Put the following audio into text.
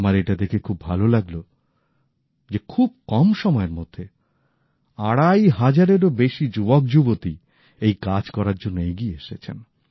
আমার এটা দেখে খুব ভাল লাগল যে খুব কম সময়ের মধ্যে আড়াই হাজারের ও বেশি যুবকযুবতী এই কাজ করার জন্য এগিয়ে এসেছেন